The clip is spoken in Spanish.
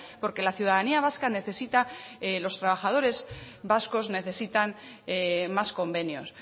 porque la ciudadanía vasca necesita los trabajadores vascos necesitan más convenios